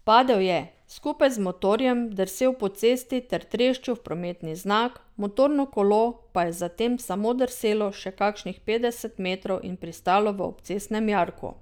Padel je, skupaj z motorjem drsel po cesti ter treščil v prometni znak, motorno kolo pa je zatem samo drselo še kakšnih petdeset metrov in pristalo v obcestnem jarku.